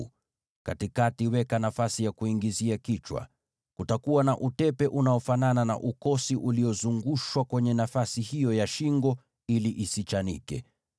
na katikati uweke nafasi ya kuingizia kichwa. Kutakuwa na utepe uliofumwa, unaofanana na ukosi kuizunguka nafasi hiyo, ili isichanike.